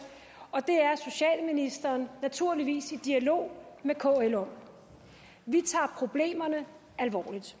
og det er socialministeren naturligvis i dialog med kl om vi tager problemerne alvorligt